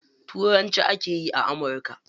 Turanci ake yi a amurka.